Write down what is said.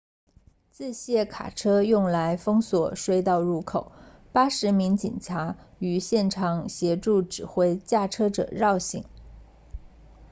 自卸卡车用来封锁隧道入口80名警察于现场协助指挥驾车者绕行